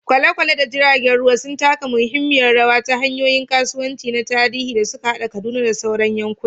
Kwale-kwale da jiragen ruwa sun taka muhimmiyar rawa a hanyoyin kasuwanci na tarihi da suka haɗa Kaduna da sauran yankuna.